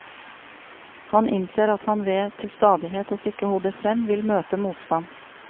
Han innser at han ved til stadighet å stikke hodet frem, vil møte motstand.